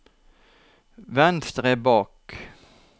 venstre bak